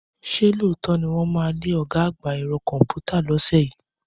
Ṣé lóòótọ́ ni wọ́n máa lé ọ̀gá àgbà ẹ̀rọ kọ̀ǹpútà lọ́sẹ̀ yìí?